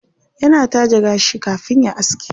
Yana taje gashi kafin ya aske.